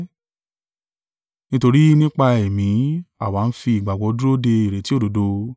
Nítorí nípa Ẹ̀mí àwa ń fi ìgbàgbọ́ dúró de ìrètí òdodo.